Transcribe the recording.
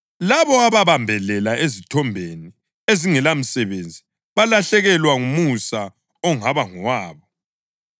Labo ababambelela ezithombeni ezingelamsebenzi balahlekelwa ngumusa ongaba ngowabo.